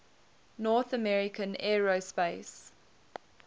north american aerospace